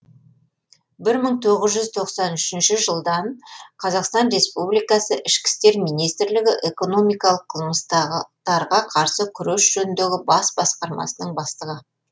бір мың тоғыз жүз тоқсан үшінші жылдан қазақстан республикасы ішкі істер министрлігі экономикалық қылмыстарға қарсы күрес жөніндегі бас басқармасының бастығы